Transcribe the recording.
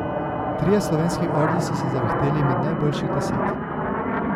Trije slovenski orli so se zavihteli med najboljših deset.